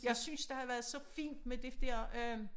Jeg synes der har været så fint med det der øh